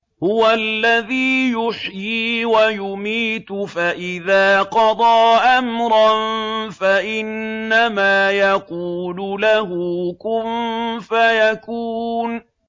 هُوَ الَّذِي يُحْيِي وَيُمِيتُ ۖ فَإِذَا قَضَىٰ أَمْرًا فَإِنَّمَا يَقُولُ لَهُ كُن فَيَكُونُ